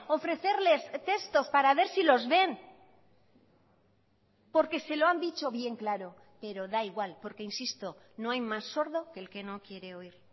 ofrecerles textos para ver si los ven porque se lo han dicho bien claro pero da igual porque insisto no hay más sordo que el que no quiere oír